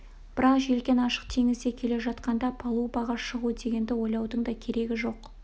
бірақ желкен ашық теңізде келе жатқанда палубаға шығу дегенді ойлаудың да керегі жоқ